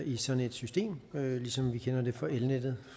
i sådan et system ligesom vi kender det fra elnettet